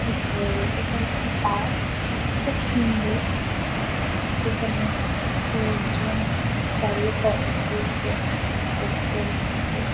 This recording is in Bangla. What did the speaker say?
যেছে-এ এটা একটি পার্ক । খুব সুন্দর যেখানে লোকজন দাঁড়িয়ে ফটো তুলছে। দেখতে এসছে।